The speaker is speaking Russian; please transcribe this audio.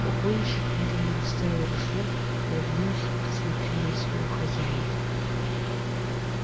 погонщик медленно отставил ружье повернулся и посмотрел на своего хозяина